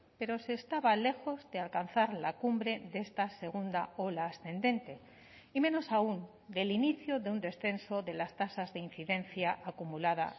pero se estaba lejos de alcanzar la cumbre de esta segunda ola ascendente y menos aún del inicio de un descenso de las tasas de incidencia acumulada